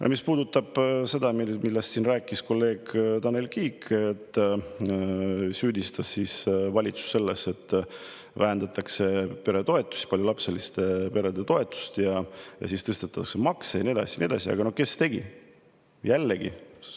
Aga mis puudutab seda, millest rääkis kolleeg Tanel Kiik – ta süüdistas valitsust selles, et vähendatakse peretoetusi, paljulapseliste perede toetusi ja tõstetakse makse ja nii edasi ja nii edasi –, siis: aga kes tegi?